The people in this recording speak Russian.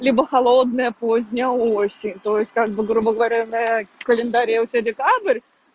либо холодная поздняя осень то есть как бы грубо говоря на календаре у тебя декабрь